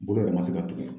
Bolo yɛrɛ ma se ka tugu